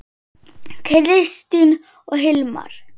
Kristin og Hilmar.